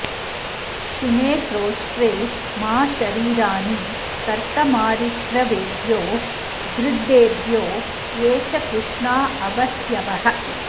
शुने क्रोष्ट्रे मा शरीराणि कर्तमारिक्रवेभ्यो गृद्धेभ्यो ये च कृष्णा अवस्यवः